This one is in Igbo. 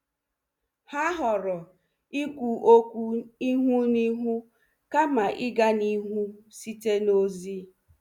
Ha họọrọ ikwu okwu ihu na ihu kama ịga n'ihu site na ozi.